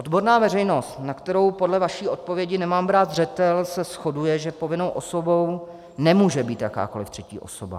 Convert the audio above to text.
Odborná veřejnost, na kterou podle vaší odpovědi nemám brát zřetel, se shoduje, že povinnou osobou nemůže být jakákoliv třetí osoba.